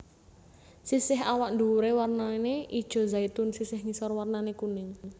Sisih awak nduwure warnane ijo zaitun sisih ngisor warnane kuning